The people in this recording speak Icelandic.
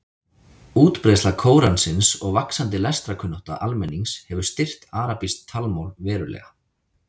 Útbreiðsla Kóransins og vaxandi lestrarkunnátta almennings hefur styrkt arabískt talmál verulega.